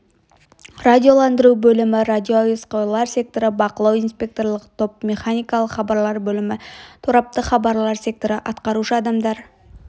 радиоландыру бөлімі радиоәуесқойлар секторы бақылау инспекторлық топ механикалық хабарлар бөлімі тораптық хабарлар секторы атқарушы адамдар